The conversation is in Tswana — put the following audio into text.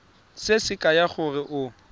se se kaya gore o